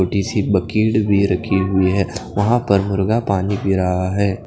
छोटीसी बक़ीड भी रखी हुई है वहा पर मुर्गा पानी पी रहा है।